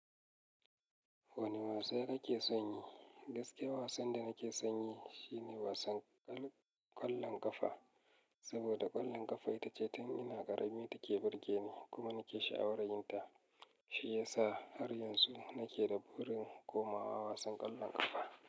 Wane wasa kake son yi? Gaskiya wasan da nake son yi shine wasan ƙwallon ƙafa. Saboda ƙwallon ƙafa ita ce ta ina ƙarami take burge ni kuma nake sha'awar yin ta. Shi ya sa har yanzu nake da burin komawa wasan ƙwallon ƙafa.